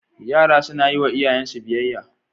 Yara sunayi wa iyayen su biyayya